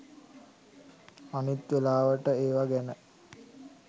අනිත් වෙලාවට ඒවා ගැන